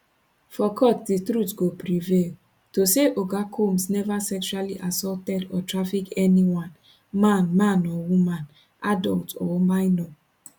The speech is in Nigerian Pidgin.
for court di truth go prevail to say oga combs never sexually assaulted or traffic anyone man man or woman adult or minor